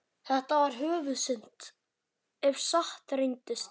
Þetta var höfuðsynd, ef satt reyndist.